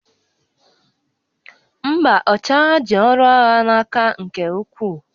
Mba, ọchịagha ji ọrụ agha n'aka nke ukwuu